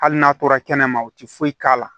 Hali n'a tora kɛnɛma u tɛ foyi k'a la